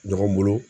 Ɲɔgɔn bolo